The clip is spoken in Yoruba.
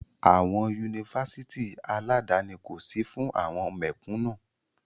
Àwọn Yunifásitì aládani kò sí fún àwọn mẹ̀kúnú.